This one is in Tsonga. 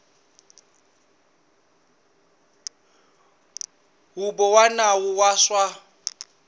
huvo ya nawu wa swa